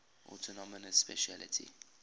autonomous specialty